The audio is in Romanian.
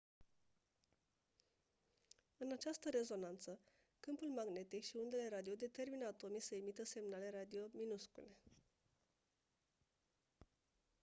în această rezonanță câmpul magnetic și undele radio determină atomii să emită semnale radio minuscule